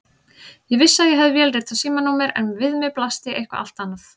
Ég vissi að ég hafði vélritað símanúmer en við mér blasti eitthvað allt annað.